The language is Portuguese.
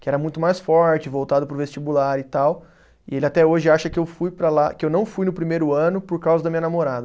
que era muito mais forte, voltado para o vestibular e tal, e ele até hoje acha que eu fui para lá, que eu não fui no primeiro ano por causa da minha namorada.